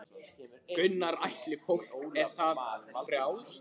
Gunnar Atli: Fólki er það frjálst?